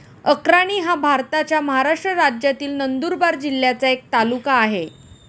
अक्राणी हा भारताच्या महाराष्ट्र राज्यातील नंदुरबार जिल्ह्याचा एक तालुका आहे.